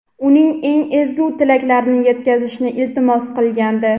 uning eng ezgu tilaklarini yetkazishni iltimos qilgandi.